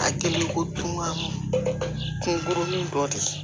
A kɛlen ko dun ka kungo dɔ di